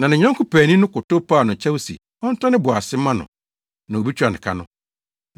“Na ne yɔnko paani no kotow paa no kyɛw sɛ ɔntɔ ne bo ase mma no, na obetua ka no.